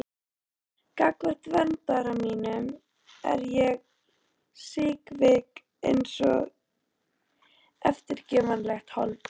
Gagnvart verndara mínum er ég síkvik einsog eftirgefanlegt hold.